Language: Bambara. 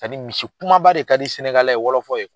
misi kumaba de ka di ye wɔlɔfɔ ye.